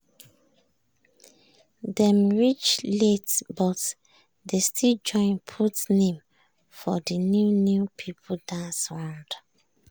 dem reach late but dey still join put name for de new new people dance round.